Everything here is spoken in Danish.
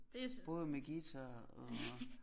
Både med guitar og